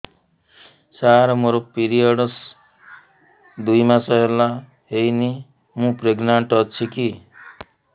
ସାର ମୋର ପିରୀଅଡ଼ସ ଦୁଇ ମାସ ହେଲା ହେଇନି ମୁ ପ୍ରେଗନାଂଟ ଅଛି କି